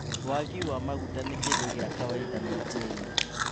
Waagi wa maguta ni kindũ gia kawaida Nigeria